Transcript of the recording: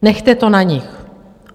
Nechte to na nich.